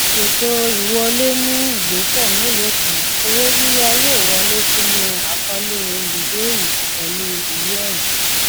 ètò ìwọlé ní ìgbésẹ mélòó kan owó yíyá yóò wọlé sínú àkọọlẹ olùbẹẹrẹ pẹlú ìwé ẹrí